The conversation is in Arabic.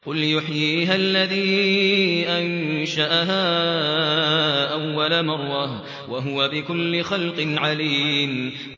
قُلْ يُحْيِيهَا الَّذِي أَنشَأَهَا أَوَّلَ مَرَّةٍ ۖ وَهُوَ بِكُلِّ خَلْقٍ عَلِيمٌ